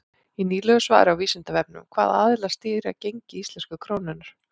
Í nýlegu svari á Vísindavefnum Hvaða aðilar stýra gengi íslensku krónunnar?